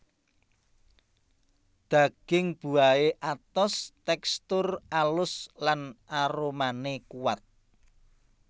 Daging buahé atos tèkstur alus lan aromané kuat